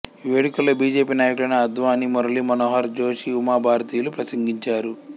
ఈ వేడుకలలో బిజెపి నాయకులైన అద్వానీ మురళీ మనోహర్ జోషి ఉమా భారతి లు ప్రసంగించారు